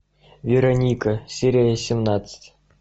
вероника серия семнадцать